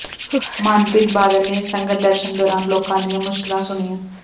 ਮਨਪ੍ਰੀਤ ਬਾਦਲ ਨੇ ਸੰਗਤ ਦਰਸ਼ਨ ਦੌਰਾਨ ਲੋਕਾਂ ਦੀਆਂ ਮੁਸ਼ਕਲਾਂ ਸੁਣੀਆਂ